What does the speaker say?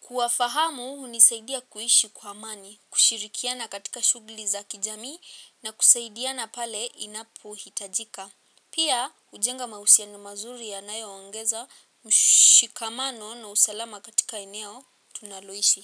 Kuwafahamu hunisaidia kuishi kwa amani, kushirikiana katika shughuli za kijamii na kusaidiana pale inapohitajika. Pia hujenga mahusiano mazuri yanayoongezamshikamano na usalama katika eneo tunaloishi.